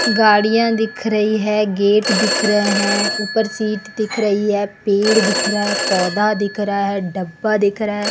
गाड़ियां दिख रही है गेट दिख रहे हैं ऊपर सीट दिख रही है पेड़ दिख रहा है पौधा दिख रहा है डब्बा दिख रहा है।